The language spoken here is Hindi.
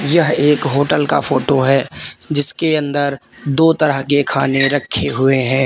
यह एक होटल का फोटो है जिसके अंदर दो तरह के खाने रखे हुए हैं।